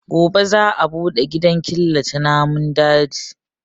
Gobe za a bude gidan killace namun dajin.